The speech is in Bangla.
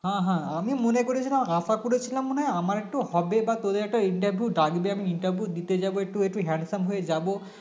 হ্যাঁ হ্যাঁ আমি মনে করেছিলাম আশা করেছিলাম মনে হয় আমার একটু হবে বা তোদের একটা Interview ডাকবে আমি interview দিতে যাবো একটু একটু handsome হয়ে যাবো